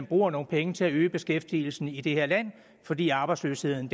bruge nogle penge til at øge beskæftigelsen i det her land fordi arbejdsløsheden